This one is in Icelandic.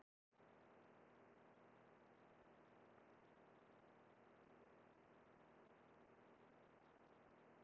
Síra Sigurður messaði um páskana, Ólafur Tómasson lét sig vanta í helgihaldið.